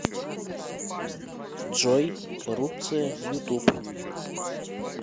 джой коррупция ютуб